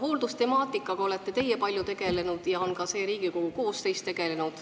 Hooldustemaatikaga olete teie palju tegelenud ja on ka see Riigikogu koosseis tegelenud.